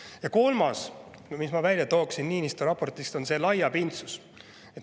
Ja kolmas, mis ma välja tooksin Niinistö raportist, on laiapindsus.